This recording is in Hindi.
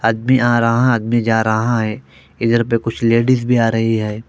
आदमी आ रहा आदमी जा रहा है इधर पे कुछ लेडिज भी आ रही है।